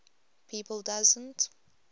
people doesn t